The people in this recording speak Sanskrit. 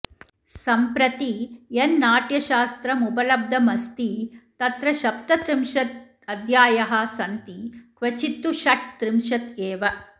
सम्प्रति यन्नाट्यशास्त्रमुपलब्धमस्ति तत्र सप्तत्रिंशदध्यायाः सन्ति क्वचित्तु षट्त्रिंशत् एव